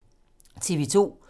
TV 2